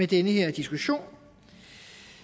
den her diskussion